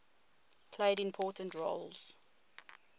played important roles